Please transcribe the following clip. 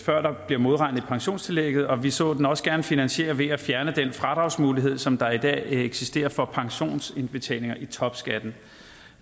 før der bliver modregnet i pensionstillægget og vi så den også gerne finansieret ved at fjerne den fradragsmulighed som der i dag eksisterer for pensionsindbetalinger i topskatten